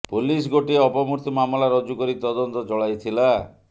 police ଗୋଟିଏ ଅପମୃତ୍ୟୁ ମାମଲା ରୁଜୁ କରି ତଦନ୍ତ ଚଳାଇଥିଲା